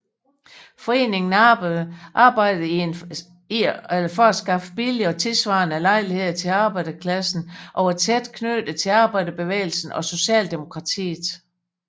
Foreningen arbejdede for at skaffe billige og tidssvarende lejligheder til arbejderklassen og var tæt knyttet til arbejderbevægelsen og Socialdemokratiet